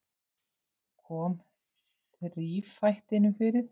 Kom þrífætinum fyrir.